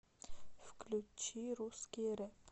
включи русский рэп